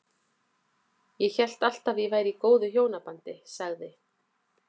Ég hélt alltaf að ég væri í góðu hjónabandi- sagði